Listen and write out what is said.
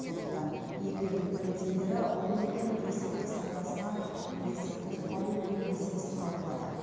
сондықтан екі елдің полицейлері ұрлық пен есірткі саудасына бірлесіп тосқауыл қою мәселесін талқылады